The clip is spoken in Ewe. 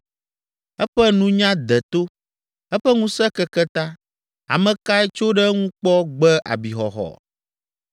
Eƒe nunya de to, eƒe ŋusẽ keke ta, ame kae tso ɖe eŋu kpɔ gbe abixɔxɔ?